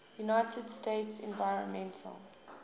united states environmental